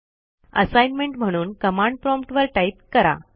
assignment म्हणून command prompt वर type करा